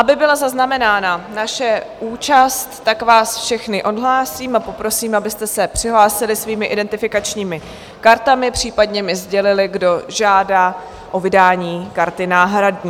Aby byla zaznamenána naše účast, tak vás všechny odhlásím a poprosím, abyste se přihlásili svými identifikačními kartami, případně mi sdělili, kdo žádá o vydání karty náhradní.